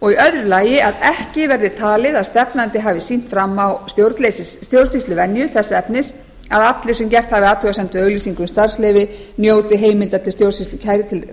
og í öðru lagi að ekki verði ekki talið að stefnandi hafi sýnt fram á stjórnsýsluvenju þess efnis að allir sem gert hafi athugasemd við auglýsingu um starfsleyfi njóti heimildar til stjórnsýslukæru til